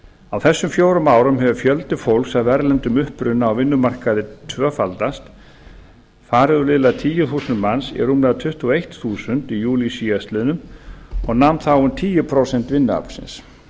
á þessum fjórum árum hefur fjöldi fólks af erlendum uppruna á vinnumarkaði tvöfaldast farið úr liðlega tíu þúsund manns í rúmlega tuttugu og eitt þúsund í júlí síðastliðnum og nam þá um tíu prósent vinnuaflsins